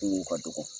Kungo ka dɔgɔ